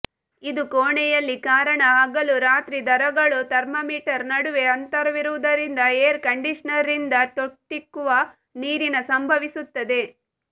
ಇದು ಕೋಣೆಯಲ್ಲಿ ಕಾರಣ ಹಗಲು ರಾತ್ರಿ ದರಗಳು ಥರ್ಮಾಮೀಟರ್ ನಡುವೆ ಅಂತರವಿರುವುದರಿಂದ ಏರ್ ಕಂಡಿಷನರ್ ರಿಂದ ತೊಟ್ಟಿಕ್ಕುವ ನೀರಿನ ಸಂಭವಿಸುತ್ತದೆ